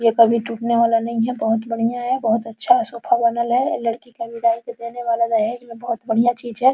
ये कभी टूटने वाला नहीं है बहुत बढियाँ है बहुत अच्छा सोफे बनल है लड़की का विदाई में देने वाला दहेज़ में बहुत बढियाँ चीज़ है।